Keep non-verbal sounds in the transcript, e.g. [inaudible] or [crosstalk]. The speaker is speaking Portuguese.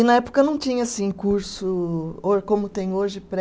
E na época não tinha assim curso, [unintelligible] como tem hoje, pré